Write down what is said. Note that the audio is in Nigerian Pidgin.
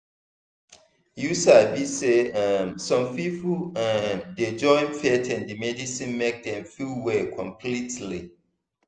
you sabi say um some people um dey join faith and medicine make dem feel well completely.